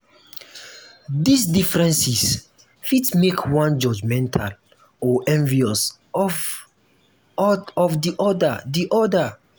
these differences fit make one judgemental or envious of di other di other